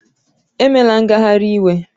Emela ngagharị iwe!